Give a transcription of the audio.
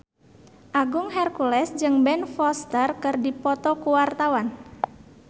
Agung Hercules jeung Ben Foster keur dipoto ku wartawan